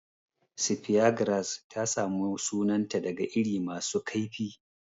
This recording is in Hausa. Speargrass ta samu sunanta daga iri masu kaifi.